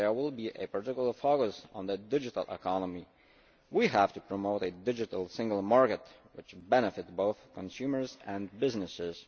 There will be a particular focus on the digital economy. We have to promote a digital single market which benefits both consumers and businesses.